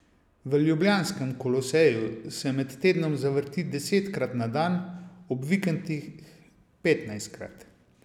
V ljubljanskem Koloseju se med tednom zavrti desetkrat na dan, ob vikendih petnajstkrat.